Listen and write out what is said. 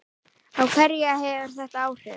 Á hverja hefur þetta áhrif?